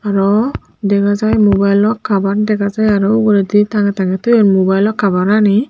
arw dega jai mubaelw kabar dega jai arw uguredi tangey tangey toyon mubaelw kabar ani.